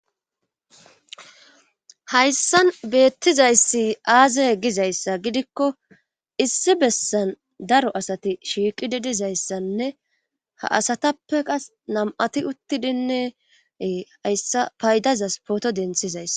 Hayssan beettizayssi aaze gizayssa gidikko issi bessan daro asati shiiqidi dizayssanne ha asatape qas nam7ati uttidinne ee hayssa paydazas pooto denthizayssa.